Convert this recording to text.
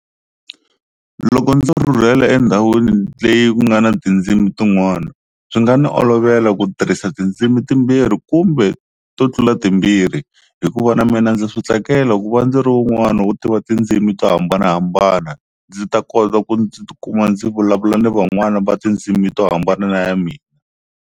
Loko ndzo rhurhela endhawini leyi ku nga na tindzimi tin'wana, swi nga ni olovela ku tirhisa tindzimi timbirhi kumbe to tlula timbirhi hikuva na mina ndza swi tsakela ku va ndzi ri wun'wani wo tiva tindzimi to hambanahambana ndzi ta kota ku ndzi tikuma ndzi vulavula na van'wani va tindzimi to hambana na ya mina.